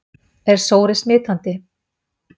Er sóri smitandi?